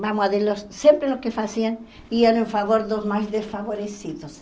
Vamos, sempre o que faziam, iam em favor dos mais desfavorecidos.